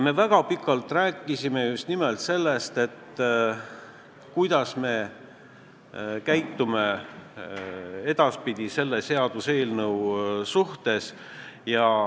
Me rääkisime väga pikalt sellest, kuidas me edaspidi selle seaduseelnõuga käitume.